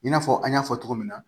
I n'a fɔ an y'a fɔ cogo min na